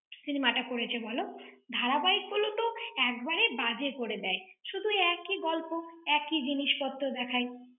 cinema টা করেছে বলো। ধারাবাহিকগুলো তো একবারে বাজে করে দেয়। শুধু একই গল্প। একই জিনিসপত্র দেখায়।